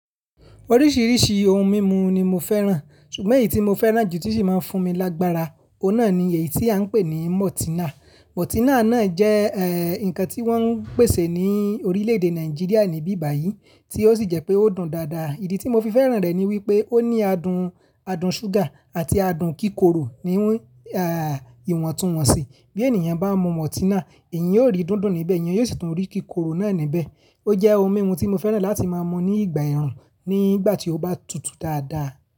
Oríṣìíríṣìí ohun mímu ni mo fẹ́ràn, ṣùgbọ́n èyí tí mo fẹ́ràn jù tí sì máa ń fún mi lágbára, ọ̀nà ni èyí tí à ń pè ní Mọ́tínà. Mọ́tínà náà jẹ́ eh, ǹkan tí wọ́n ń pèsè ní orílẹ̀-èdè Nàìjíríà níbí báyìí tí ó sì jẹ́ pé ó dùn dáadáa. Ìdí tí mo fi fẹ́ràn rẹ̀ ni wípé ó ní adùn, adùn ṣúgà àti adùn kíkorò níwọn, ah, ìwọ̀ntúnwọ̀nsì. Bí ènìyàn bá mu Mọ́tínà, èyàn yìí ó rí dùndùn níbẹ̀, ènìyàn yóò sì tún rí kíkorò náà níbẹ̀. Ó jẹ́ ohun mímu tí mo fẹ́ràn láti máa mu ní ìgbà ẹ̀rùn nígbà tí ó bá tutù dáadáa.